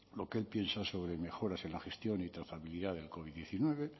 lo que él piensa sobre mejoras en la gestión y trazabilidad del covid diecinueve